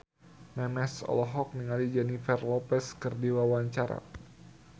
Memes olohok ningali Jennifer Lopez keur diwawancara